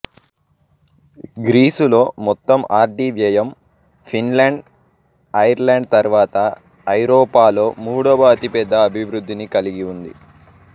గ్రీసులో మొత్తం R D వ్యయం Finland Ireland తర్వాత ఐరోపాలో మూడవ అతి పెద్ద అభివృద్ధిని కలిగి ఉంది